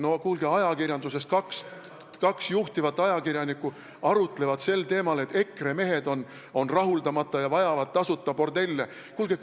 No kuulge, kaks juhtivat ajakirjanikku arutlevad sel teemal, et EKRE mehed on rahuldamata ja vajavad tasuta bordelle!